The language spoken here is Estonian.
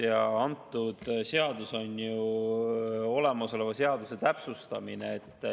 Ja see seadus on ju olemasoleva seaduse täpsustamine.